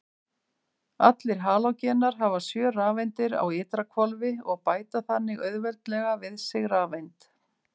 Allir halógenar hafa sjö rafeindir á ytra hvolfi og bæta þannig auðveldlega við sig rafeind.